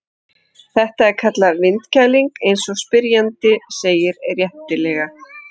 Þetta er kallað vindkæling eins og spyrjandi segir réttilega.